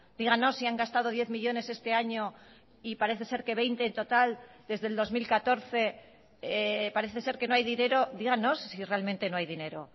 díganos si han gastado diez millónes este año y parece ser que veinte en total desde el dos mil catorce parece ser que no hay dinero díganos si realmente no hay dinero